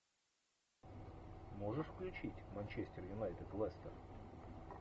можешь включить манчестер юнайтед лестер